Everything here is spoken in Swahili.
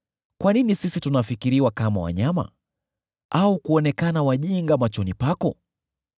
Kwa nini sisi tunafikiriwa kama wanyama, na kuonekana wajinga machoni pako?